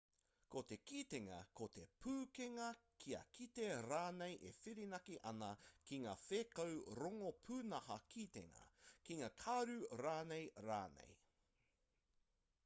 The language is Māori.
ko te kitenga ko te pūkenga kia kite rānei e whirinaki ana ki ngā whēkau rongo pūnaha kitenga ki ngā karu rānei rānei